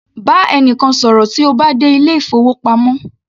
Bá ẹnìkan ṣọ̀rọ̀ tí o bá dé ilé ìfowópamọ́